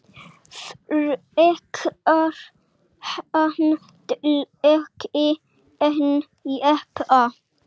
Frekar handleggi en jeppa